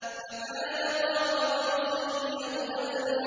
فَكَانَ قَابَ قَوْسَيْنِ أَوْ أَدْنَىٰ